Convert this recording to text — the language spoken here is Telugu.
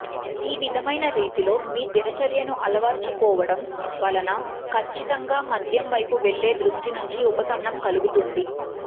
ఈ విధమైన రీతిలో మీ దినచర్యను అలవారచుకోవటం వలన ఖచ్చితంగా మద్యం వైపు వెళ్ళే దృష్టి నుండి ఉపశమనం కలుగుతుంది